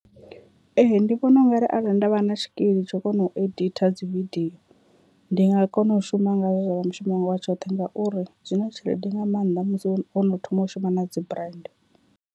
Ee, ndi vhona ungari arali nda vha na tshikili tsha kona u editor dzi vidio, ndi nga kona u shuma ngayo zwa vha mushumo wanga wa tshoṱhe ngauri zwi na tshelede nga maanḓa musi wono thoma u shuma na dzi brand.